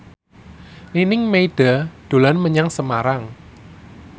Nining Meida dolan menyang Semarang